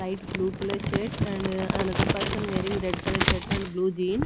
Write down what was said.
light blue colour shirt and another person wearing red colour shirt and blue jean.